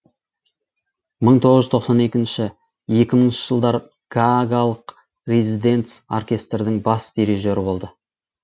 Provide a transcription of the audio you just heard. мың тоғыз жүз тоқсан екінші екі мыңыншы жылдары гаагалық резиденц оркестрдің бас дирижері болды